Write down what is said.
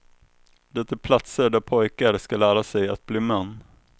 Det är platser där pojkar ska lära sig att bli män.